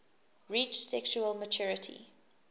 reach sexual maturity